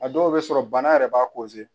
A dɔw bɛ sɔrɔ bana yɛrɛ b'a